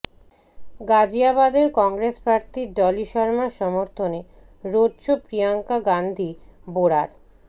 গাজিয়াবাদের কংগ্রেস প্রার্থী ডলি শর্মার সমর্থনে রোড শো প্রিয়ঙ্কা গান্ধি বঢ়রার